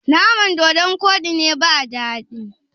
naman dodon Koɗin ne ba dadi?